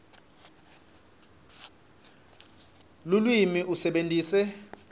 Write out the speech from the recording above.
lulwimi usebentise